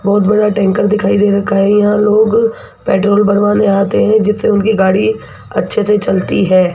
बहुत बड़ा टैंकर दिखाई दे रखा है यहां लोग पेट्रोल भरवाने आते हैं जिससे उनकी गाड़ी अच्छे से चलती है।